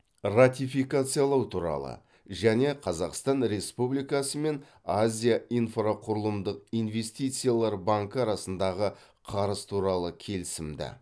ратификациялау туралы және қазақстан республикасы мен азия инфрақұрылымдық инвестициялар банкі арасындағы қарыз туралы келісімді